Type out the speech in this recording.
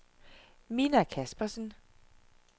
Minna Kaspersen